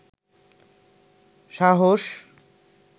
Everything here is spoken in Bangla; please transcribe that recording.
সাহস